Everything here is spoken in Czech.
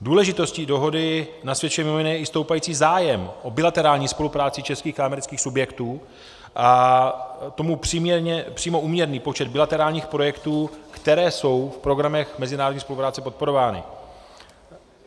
Důležitosti dohody nasvědčuje mimo jiné i stoupající zájem o bilaterální spolupráci českých a amerických subjektů a tomu přímo úměrný počet bilaterálních projektů, které jsou v programech mezinárodní spolupráce podporovány.